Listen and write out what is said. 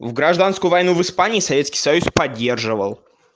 в гражданскую войну в испании советский союз поддерживал